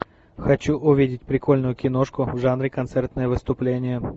хочу увидеть прикольную киношку в жанре концертное выступление